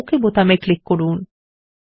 এখন okay button click করুন